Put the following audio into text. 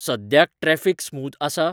सद्याक traffic smooth आसा?